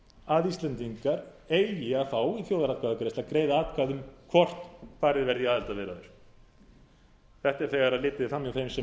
að íslendingar eigi að fá í þjóðaratkvæðagreiðslu að greiða atkvæði um hvort farið verði í aðildarviðræður þetta er þegar litið er fram hjá þeim sem